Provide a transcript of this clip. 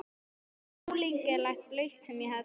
Það var ólíkindaleg braut sem ég hafði farið út á.